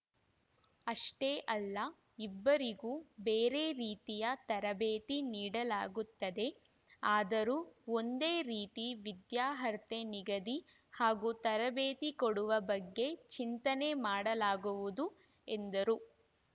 ಅಷ್ಟೇ ಅಲ್ಲ ಇಬ್ಬರಿಗೂ ಬೇರೆ ರೀತಿಯ ತರಬೇತಿ ನೀಡಲಾಗುತ್ತದೆ ಆದರೂ ಒಂದೇ ರೀತಿ ವಿದ್ಯಾರ್ಹತೆ ನಿಗದಿ ಹಾಗೂ ತರಬೇತಿ ಕೊಡುವ ಬಗ್ಗೆ ಚಿಂತನೆ ಮಾಡಲಾಗುವುದು ಎಂದರು